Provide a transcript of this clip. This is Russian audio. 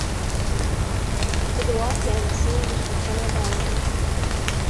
эдуарде алексеевиче коновалове